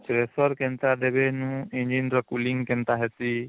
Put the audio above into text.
pressure କେନ୍ତା ଦେବୀ ନୁ engine ର cooling କେନ୍ତା ହେସି